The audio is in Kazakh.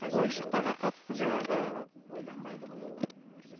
қажет ойыншықтарға қатысты жаңағы ойланбайды ғой олар